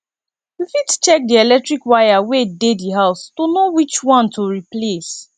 we fit check di electric wire wey dey di house to know which one to replace